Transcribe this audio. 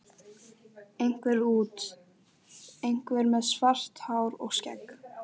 Einhver út, einhver með svart hár og skegg.